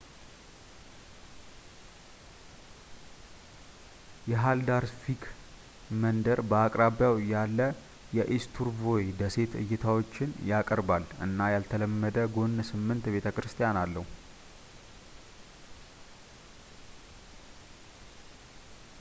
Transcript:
የሃልዳርስቪክ መንደር በአቅራቢያው ያለ የኢስቱርቮይ ደሴት እይታዎችን ያቀርባል እና ያልተለመደ ጎነ-ስምንት ቤተ-ክርስቲያን አለው